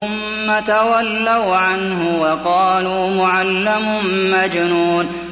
ثُمَّ تَوَلَّوْا عَنْهُ وَقَالُوا مُعَلَّمٌ مَّجْنُونٌ